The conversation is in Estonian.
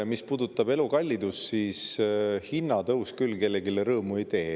Mis puudutab elukallidust, siis hinnatõus küll kellelegi rõõmu ei tee.